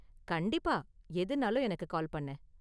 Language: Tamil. கண்டிப்பா! எதுனாலும் எனக்கு கால் பண்ணு.